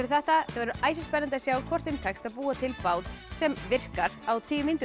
þetta verður æsispennandi að sjá hvort þeim tekst að búa til bát sem virkar á tíu mínútum